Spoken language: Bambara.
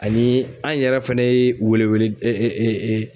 Ani an yɛrɛ fɛnɛ ye welewele